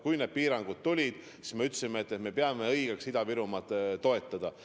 Kui need piirangud tulid, siis me ütlesime, et me peame õigeks Ida-Virumaad toetada.